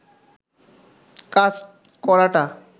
কাজ করাটা